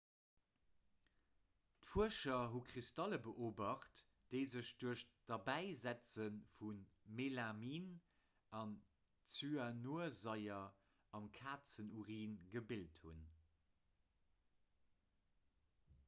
d'fuerscher hu kristalle beobacht déi sech duerch d'derbäisetze vu melamin a zyanursaier am kazenurin gebilt hunn